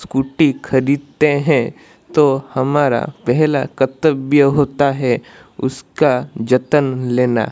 scooty खरीदते हैं तो हमारा पहला कर्तव्य होता है उसका जतन लेना--